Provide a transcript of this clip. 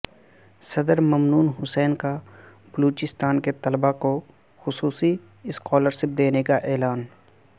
صدر ممنون حسین کا بلوچستان کے طلبا کو خصوصی اسکالر شپ دینے کا اعلان